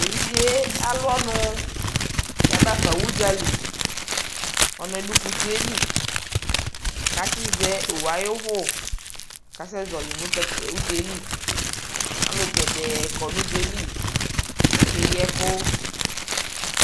tʋ ɛvidzɛ alʋ ɔnʋ yabaƒa ʋdzali, ɔnʋɛ dʋ kʋsiɛ li kʋ atsi zɛ ɔwʋ ayi ʋvʋ kʋ asɛ zɔli nʋ ʋdzaɛli, alʋ gɛdɛɛ kɔ nʋ ʋdzali kʋ akɛyi ɛkʋ